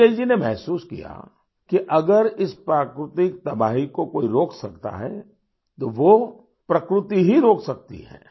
बिजय जी ने महसूस किया कि अगर इस प्राकृतिक तबाही को कोई रोक सकता है तो वो प्रकृति ही रोक सकती है